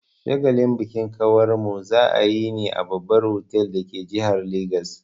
Shagalin bikin kawarmu za'a yi ne a babbar otal dake jihar Legas.